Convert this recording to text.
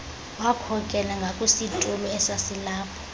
wakhokela ngakwisitulo esasilapho